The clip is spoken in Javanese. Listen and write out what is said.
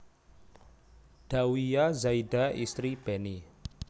Dhawiya Zaida Istri Beni